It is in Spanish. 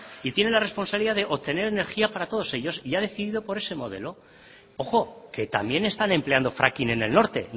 y tiene la responsabilidad de obtener energía para todos ellos y ha decidido por ese modelo ojo que también están empleando fracking en el norte